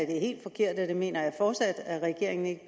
helt forkert og det mener jeg fortsat at regeringen ikke